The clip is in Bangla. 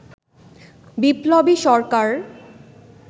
বিপ্লবী সরকার